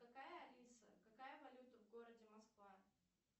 какая алиса какая валюта в городе москва